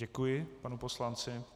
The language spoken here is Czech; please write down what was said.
Děkuji panu poslanci.